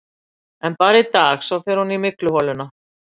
En bara í dag, svo fer hún í mygluholuna.